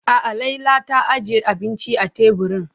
A'a Laila ta ajiye abinci a teburin.